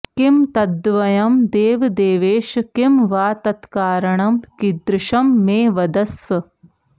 किं तद्द्वयं देवदेवेश किं वा तत्कारणं कीदृशं मे वदस्व